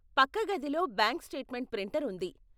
పక్క గదిలో bank statement printer ఉంది.